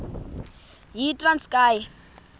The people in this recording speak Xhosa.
yitranskayi